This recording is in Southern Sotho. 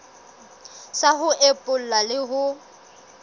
sa ho epolla le ho